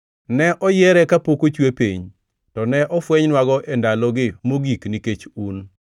Ne oyiere kapok ochwe piny, to ne ofwenynwago e ndalogi mogik nikech un.